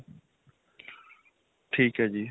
ਠੀਕ ਹੈ ਜੀ .